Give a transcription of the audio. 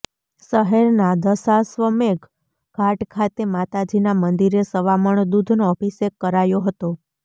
શહેરના દશાશ્વમેઘ ઘાટ ખાતે માતાજીના મંદિરે સવા મણ દુધનો અભિષેક કરાયો હતો